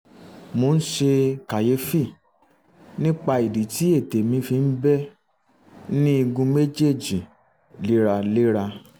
mo ń ṣe kàyéfì nípa ìdí tí ètè mi fi ń bẹ́ ní igun méjèèjì léraléra